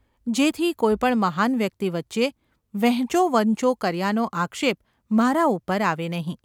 જેથી કોઈ પણ મહાન વ્યક્તિ વચ્ચે વહેંચોવંચો કર્યાનો આક્ષેપ મારા ઉપર આવે નહિ.